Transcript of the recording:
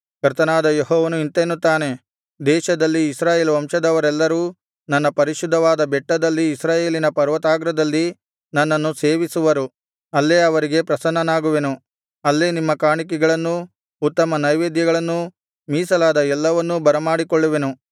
ಕರ್ತನಾದ ಯೆಹೋವನು ಇಂತೆನ್ನುತ್ತಾನೆ ದೇಶದಲ್ಲಿ ಇಸ್ರಾಯೇಲ್ ವಂಶದವರೆಲ್ಲರೂ ನನ್ನ ಪರಿಶುದ್ಧವಾದ ಬೆಟ್ಟದಲ್ಲಿ ಇಸ್ರಾಯೇಲಿನ ಪರ್ವತಾಗ್ರದಲ್ಲಿ ನನ್ನನ್ನು ಸೇವಿಸುವರು ಅಲ್ಲೇ ಅವರಿಗೆ ಪ್ರಸನ್ನನಾಗುವೆನು ಅಲ್ಲೇ ನಿಮ್ಮ ಕಾಣಿಕೆಗಳನ್ನೂ ಉತ್ತಮ ನೈವೇದ್ಯಗಳನ್ನೂ ಮೀಸಲಾದ ಎಲ್ಲವನ್ನೂ ಬರಮಾಡಿಕೊಳ್ಳುವೆನು